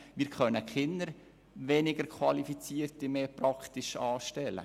wir können praktisch keine weniger qualifizierten Personen mehr anstellen.